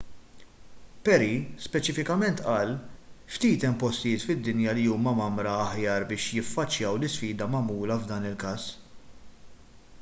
perry speċifikament qal ftit hemm postijiet fid-dinja li huma mgħammra aħjar biex jiffaċċjaw l-isfida magħmula f'dan il-każ